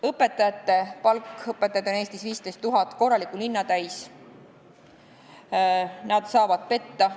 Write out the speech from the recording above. Õpetajate palk – õpetajaid on Eestis 15 000, korraliku linna täis, aga nad saavad petta.